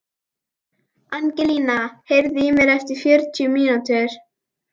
Angelína, heyrðu í mér eftir fjörutíu mínútur.